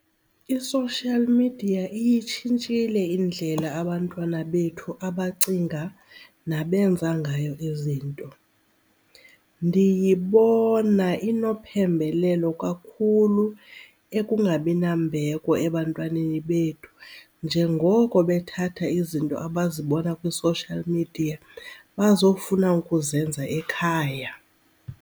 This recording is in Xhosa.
I-social media iyitshintshile indlela abantwana bethu abacinga nabenza ngayo izinto. Ndiyibona inophembelelo kakhulu ekungabi nambeko ebantwaneni bethu njengoko bethatha izinto abazibona kwi-social media bazofuna ukuzenza ekhaya.